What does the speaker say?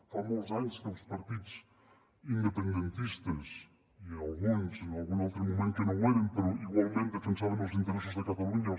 fa molts anys que els partits independentistes i alguns en algun altre moment que no ho eren però igualment defensaven els interessos de catalunya